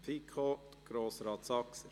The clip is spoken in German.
– Ich erteile das Wort Grossrat Saxer.